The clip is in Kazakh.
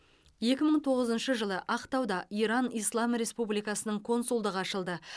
екі мың тоғызыншы жылы ақтауда иран ислам республикасының консулдығы ашылды